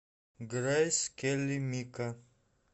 грэйс келли мика